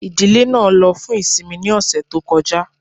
Ìdílé náà ló fún ìsinmi ní ọ̀sẹ̀ tó kọjá